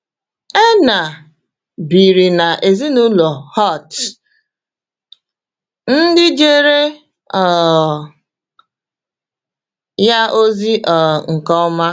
Erna biri na ezinụlọ Holtz, ndị jere um ya ozi um nke ọma.